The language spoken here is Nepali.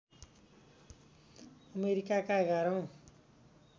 अमेरिकाका एघारौँ